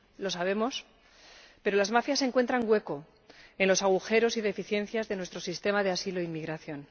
Lo sabemos, pero las mafias encuentran hueco en los agujeros y deficiencias de nuestro sistema de asilo e inmigración.